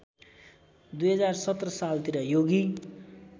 २०१७ सालतिर योगी